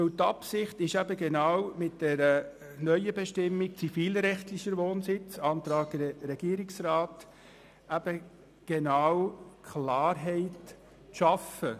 Die Absicht ist es, mit der neuen Bestimmung «zivilrechtlicher Wohnsitz» gemäss dem Antrag Regierungsrat Klarheit zu schaffen.